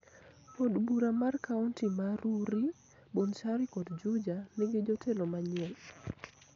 Od bura mar kaonti ma Rurii, Bonchari kod Juja nigi jotelo manyien.